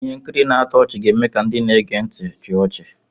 Ihe nkiri na-atọ ọchị ga-eme ka ndị na-ege ntị chịa ọchị.